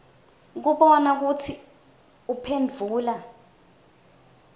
kubona kutsi uphendvula